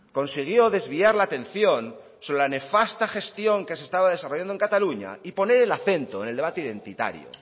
consiguió desviar la atención sobre la nefasta gestión que se estaba desarrollando en cataluña y poner el acento en el debate identitario